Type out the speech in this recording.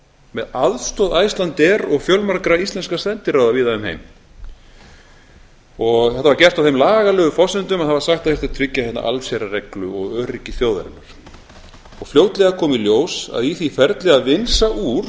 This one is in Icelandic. með aðstoð icelandair og fjölmargra íslenskra sendiráða víða um heim þetta var gert á þeim lagalegu forsendum að það var sagt að það þyrfti að tryggja hérna allsherjarreglu og öryggi þjóðarinnar fljótlega kom í ljós að í því ferli að vinsa úr